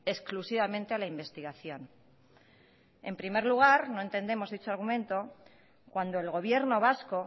exclusivamente a la investigación en primer lugar no entendemos dicho argumento cuando el gobierno vasco